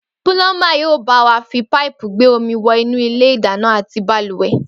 Púlọ́ḿbà yóò bá wa fi páìpù gbé omi wọ inú ilé ìdáná àti bàlùwẹ̀